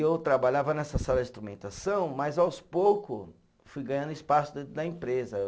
Eu trabalhava nessa sala de instrumentação, mas aos pouco fui ganhando espaço dentro da empresa.